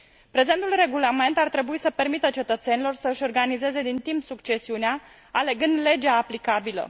Prezentul regulament ar trebui să permită cetățenilor să își organizeze din timp succesiunea, alegând legea aplicabilă.